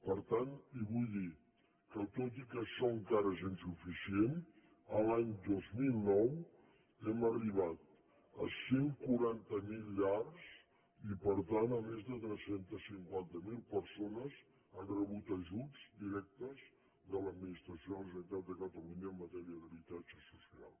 per tant li vull dir que tot i que això encara és insuficient l’any dos mil nou hem arribat a cent i quaranta miler llars i per tant a més de tres cents i cinquanta miler persones que han rebut ajuts directes de l’administració de la generalitat de catalunya en matèria d’habitatge social